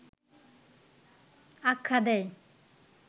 আখ্যা দেয়